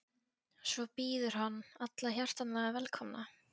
Svo býður hann alla hjartanlega velkomna.